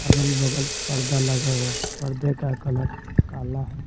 अगल-बगल पर्दा लगा हुआ है पर्दे का कलर काला है।